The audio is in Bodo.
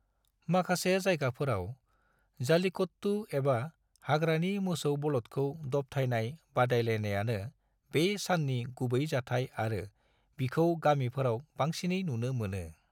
माखासे जायगाफोराव, जल्लीकट्टू, एबा हाग्रानि मोसौ बलदखौ दबथाइनाय बादायलायनायानो बे साननि गुबै जाथाइ आरो बिखौ गामिफोराव बांसिनै नुनो मोनो।